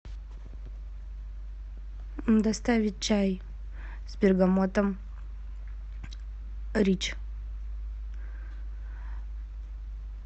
доставить чай с бергамотом рич